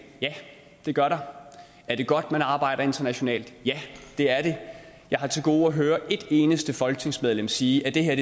ja det gør der er det godt at man arbejder internationalt ja det er det jeg har til gode at høre et eneste folketingsmedlem sige at det her